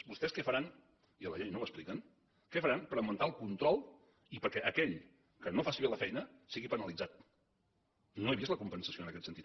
vostès què faran i a la llei no ho expliquen per augmentar el control i perquè aquell que no faci bé la feina sigui penalitzat no he vist la compensació en aquest sentit